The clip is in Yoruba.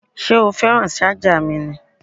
Ṣé o fẹ́ràn ṣájà mi ni?